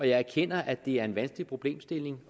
jeg erkender at det er en vanskelig problemstilling